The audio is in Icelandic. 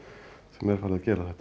er farið að gera þetta